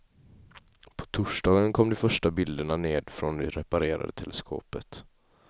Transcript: På torsdagen kom de första bilderna ned från det reparerade teleskopet.